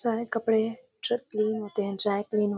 चाहे कपड़े dry clean होते हैं चाहे तो इन हों।